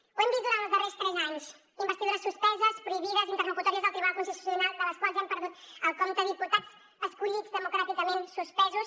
ho hem vist durant els darrers tres anys investidures suspeses prohibides interlocutòries del tribunal constitucional de les quals hem perdut el compte diputats escollits democràticament suspesos